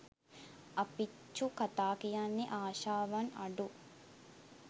අප්පිච්ඡු කථා කියන්නේ ආශාවන් අඩු